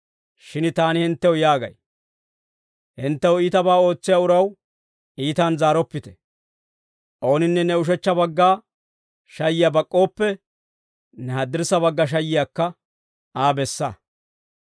Shin taani hinttew yaagay; ‹Hinttew iitabaa ootsiyaa uraw iitan zaaroppite; ooninne ne ushechcha bagga shayiyaa bak'k'ooppe, ne haddirssa bagga shayiyaakka Aa bessa;